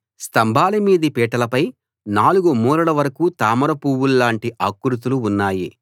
స్తంభాల మీది పీటలపై 4 మూరల వరకూ తామర పూవుల్లాంటి ఆకృతులు ఉన్నాయి